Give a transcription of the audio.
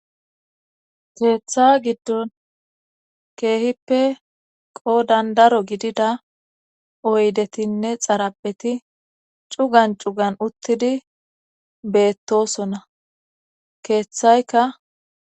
keeththa giddon keehippe qo dandaro gidida oydetinne xarabeti cugan cugan uttidi beettosona keeththayka